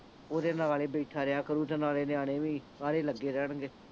ਉਹਦੇ ਨਾਲ ਹੀ ਬੈਠਾ ਰਿਹਾ ਕਰੁ ਤੇ ਨਾਲੇ ਨਿਆਣੇ ਵੀ ਆਰਹੇ ਲੱਗੇ ਰਹਿਣਗੇ